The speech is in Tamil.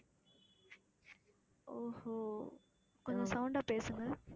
ஓஹோ கொஞ்சம் sound ஆ பேசுங்க